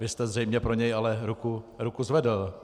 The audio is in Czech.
Vy jste zřejmě ale pro něj ruku zvedl.